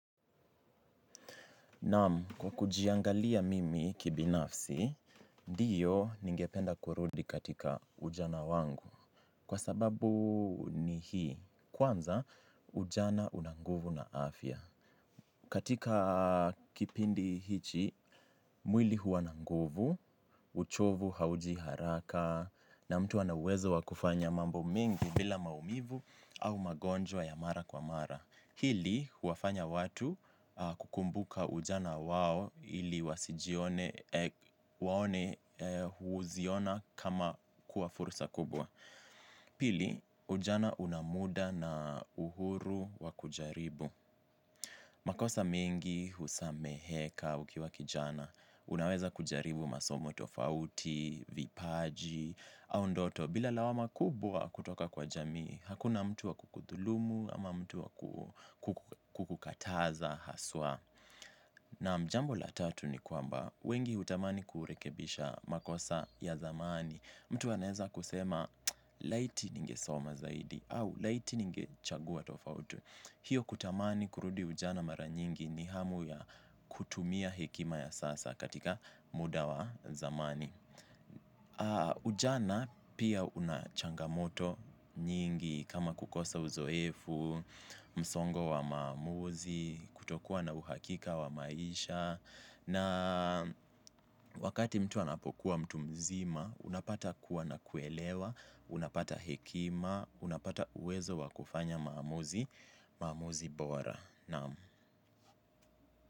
Naam kwa kujiangalia mimi kibinafsi, ndiyo ningependa kurudi katika ujana wangu. Kwa sababu ni hii, kwanza ujana una nguvu na afya. Katika kipindi hichi, mwili huwa na nguvu, uchovu hauji haraka na mtu ana uwezo wa kufanya mambo mengi bila maumivu au magonjwa ya mara kwa mara. Hili, huwafanya watu kukumbuka ujana wao ili wasijione huziona kama kuwa fursa kubwa. Pili, ujana una muda na uhuru wa kujaribu. Makosa mengi, husameheka, ukiwa kijana, unaweza kujaribu masomo tofauti, vipaji, au ndoto. Bila lawama kubwa kutoka kwa jamii, hakuna mtu wa kukudhulumu, ama mtu wa kukukataza, haswa. Maan jambo la tatu ni kwamba, wengi hutamani kurekebisha makosa ya dhamani. Mtu anaweza kusema, laiti ninge soma zaidi, au laiti ninge chagua tofauti. Hio kutamani kurudi ujana mara nyingi ni hamu ya kutumia hekima ya sasa katika muda wa zamani. Ujana pia unachangamoto nyingi kama kukosa uzoefu, msongo wa maamuzi, kutokuwa na uhakika wa maisha. Na wakati mtu anapokuwa mtu mzima, unapata kuwa na kuelewa, unapata hekima, unapata uwezo wa kufanya maamuzi, maamuzi bora.